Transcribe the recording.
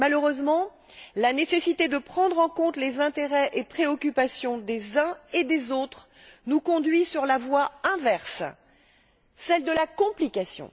Malheureusement, la nécessité de prendre en compte les intérêts et préoccupations des uns et des autres nous conduit sur la voie inverse, celle de la complication.